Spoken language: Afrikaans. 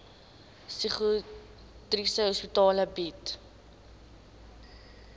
psigiatriese hospitale bied